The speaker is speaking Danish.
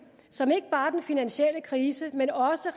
som ikke bare er den finansielle krise men også